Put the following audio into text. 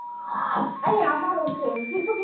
এই আমারও same কিন্তু